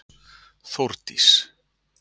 Þórdís